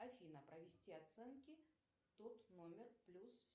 афина провести оценки тот номер плюс